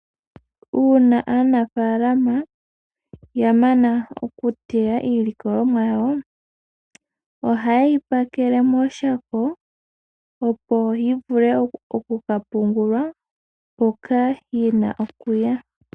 Uuna aanafalama ya mana okuteya iilikolomwa yawo ohaye yi pakele mooshako opo yi vule kapungulwe hoka yina okuya ..